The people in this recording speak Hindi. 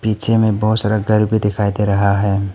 पीछे बहुत सारा घर भी दिखाई दे रहा है।